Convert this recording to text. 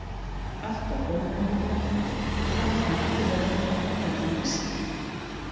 Allt varð óraunverulegt og þannig að ekki verður með orðum lýst.